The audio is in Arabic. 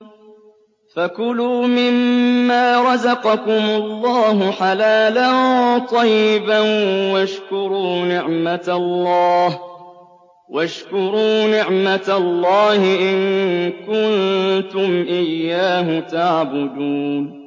فَكُلُوا مِمَّا رَزَقَكُمُ اللَّهُ حَلَالًا طَيِّبًا وَاشْكُرُوا نِعْمَتَ اللَّهِ إِن كُنتُمْ إِيَّاهُ تَعْبُدُونَ